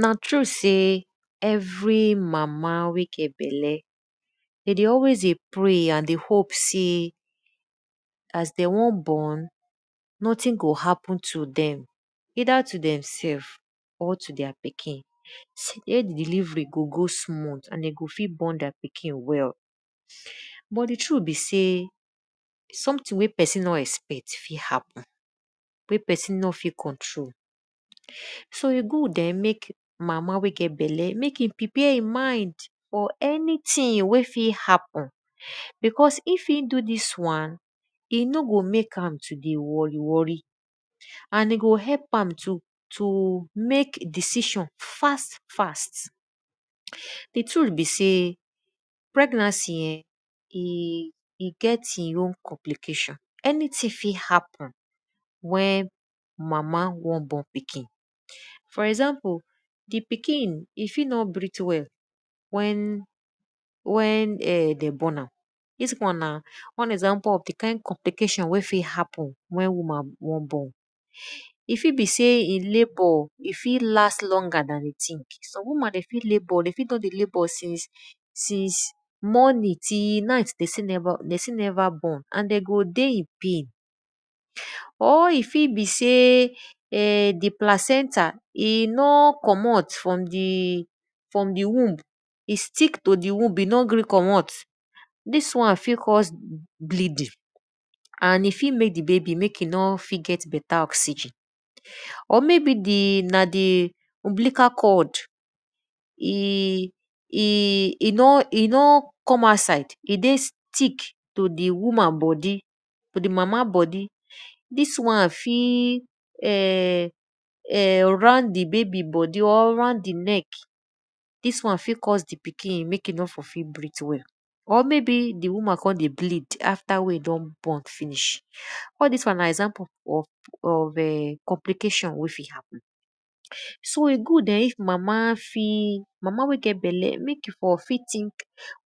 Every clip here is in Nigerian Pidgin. Na true sey evei mama wey get bella de dey alwys dey pray sey and dey hope sey de won burn, nothing go happen to dem either to dem sef or to their pikin.safe delivery go go smooth and de go fit born their pikin well. But di truth be sey something wey psin nor expet fit happen, wey pesin nor fit control so e good[um]mek mama wey get bella mek e prepare e mind or anything wey fit happemn because if e do dis wan, e no go mek am to dey worry worry, and e go help am to mek decision fast fast. Di truth be sey pregnancy e get e own complication, anything fit happen wen mama wan born pikin for example, di pikin e fit nor breath well wen en dem born am, dis one na one example of di kind compliation wey fit happen wen woman won born, e fit be sey e labour e fit last longer dat e think. Some woman fit labour, de fit don dey labour since morning till night de still neva born and de go dey I pain. Or e fit be sey di placenta e nor commot from di womb, e stick to di womb, e nor gree commot, dis one fit cause bleeding, and e fit mek di babai mek e no fit get beta oxygen. Or maybe na di umbilical cord, e don come outside e dey stick to di woman bodi to di mama bodi, dis wan fit en[um]round di baby bodi r round di neck, dis wan fit cause di pikin mek e nore for fit breath well, or maybe di woman kon ey bleed after wen e don born finish all dis wan na complication wen e fit happen. So e good eh if mama wey get balle mek e for fit think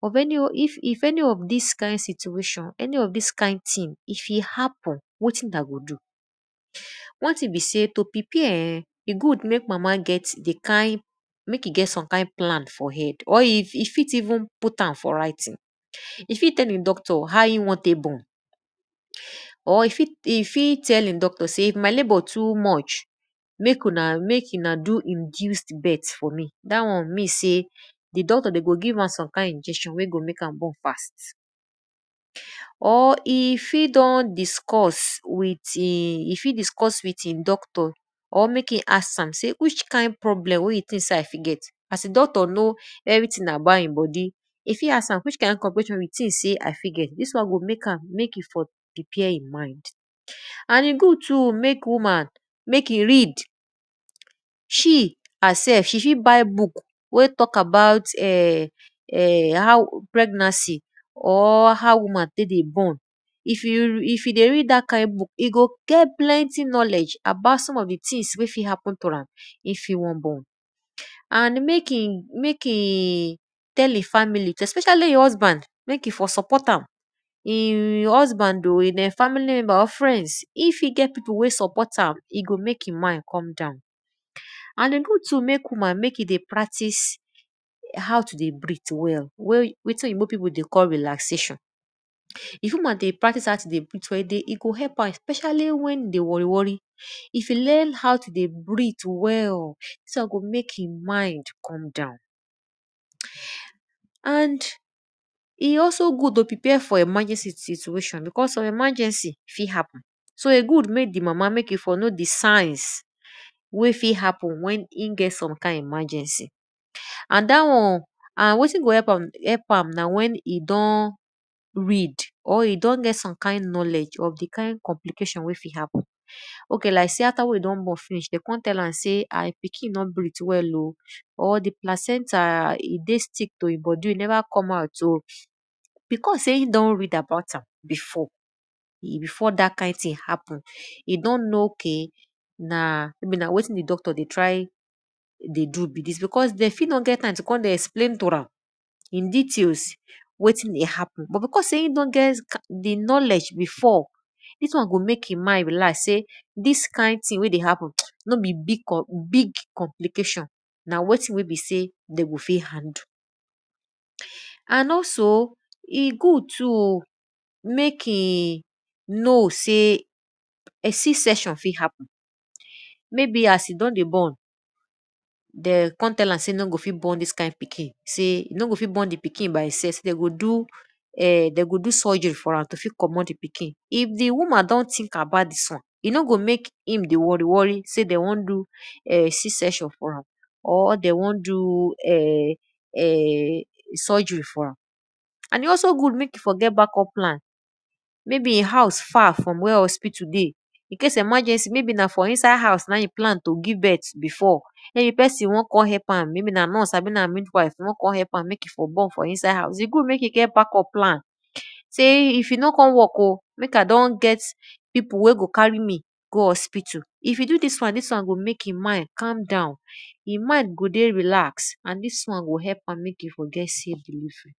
if any of dis kind situation, any of dis kind thing if e happen wetin una go do. One thing na be sey eh to prepare[um]e god mek di mama get som kind plan for head or e fit even put am for writing. E fit tll e doctor how e wan tek born, or e fit tell e docor sey if my labour too much, mek una do induced birth dat won mean sey di doctor de go give am some kind inection wey go mek am born fast. Or e fit don discussed with doctor or mek e ask am wih am problem wey e think sey I fit get, as di doctor knoweverything about e bodi. E fit ask am which kind condition wey you think sey I fit get, dis won go mek am mek e fot prepare e mind. And e good too mek woman mek e read, she herself she fit buy book wey talk abut how pregnancy or how woman tek dey born, if e dey read dat kind book, e go get plenty knowledge about some of di things wey fit happen to am wen e won born. And mek e tell e family especially e husband mek e for support am, e husband or family member, friends, if e get pipu wey support am, e go mek e mind come down. And e good too mek woman mek e dey practices ow to dy breath well wetin oyibo pipu dey call relaxation. If woman learn ow to dey breath well especially wen e dey worry worry, if e learn how to dey breath well, dis won go mek e mind calm down. And e also good to prpare for emergency situation because some emergency fit happen so e good mek di mama mek e fot know di signs wen fit happen wen e get some kind emergency. And dat one and wetin go help am na wen e don read or e don get some kind knowledge of di kind complication wey fit happen. Ok so like after you don born, de kon tell am sey her pikin no breath well o, or di placental e dey stick to e bodi or e neva come out o, because sey e rea about am before dat kind thing happen, e don know sey ok na wetin di doctor dey try do like dis, because de fit no get time to kon dey explain to am in details wetin dey happen but because sey e don get knowledge before, dis won go mek e mind relax sey dis kind thing wey dey happen no be big somplication na wetin wey be sey de go fit handle. And also, e good too mek e know sey c section fit happen as e don dey born, de kon tell am sey you no go fit born dis kind ikin, you no go fit born dis pikin by e sef, if di wman don think about dis one, e no go mek im dey worry worry sey de won do c section for am, or de won do surgery for am. And e also good mek e for get backup plan maybe e house far from where hospital dey in case of emergency maybe na for inside house na in e plan to give birth before den if pesin won kon help am weda na nurse abi na mid wife won kon help am mek e for born for inside house, e good mek e get backup plan sey if e no kon work o, mek I don get pipu wey go carry me go hospital, if e do dis won, dis won go mek e mind calm down, e mind go dey relax and dis won go help am calm down forget sey